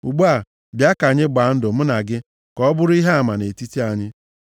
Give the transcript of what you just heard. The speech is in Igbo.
Ugbu a, bịa ka anyị gbaa ndụ mụ na gị, ka ọ bụrụ ihe ama nʼetiti anyị.”